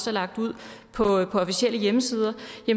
er lagt ud på officielle hjemmesider